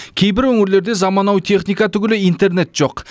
кейбір өңірлерде заманауи техника түгілі интернет жоқ